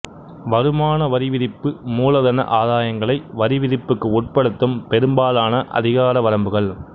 வருமான வரி விதிப்பு மூலதன ஆதாயங்களை வரிவிதிப்புக்கு உட்படுத்தும் பெரும்பாலான அதிகார வரம்புகள்